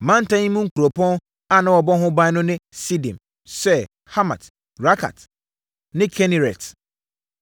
Mantam yi mu nkuropɔn a na wɔabɔ ho ban no ne Sidim, Ser, Hamat, Rakat ne Kineret,